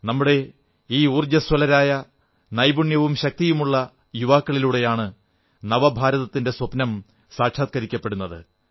നമ്മുടെ ഈ ഊർജ്ജസ്വലരായ നൈപുണ്യവും ശക്തിയുമുള്ള യുവാക്കളിലൂടെയാണ് നവഭാരതത്തിന്റെ സ്വപ്നം സാക്ഷാത്കരിക്കപ്പെടുന്നത്